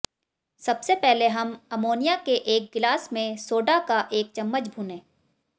सबसे पहले हम अमोनिया के एक गिलास में सोडा का एक चम्मच भूनें